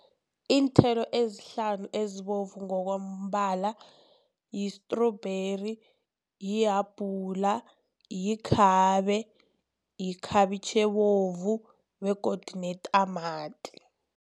Iinthelo ezihlanu ezibovu ngokombala yi-strawberry, lihabhula, likhabe, ikhabitjhi ebovu begodu netamati.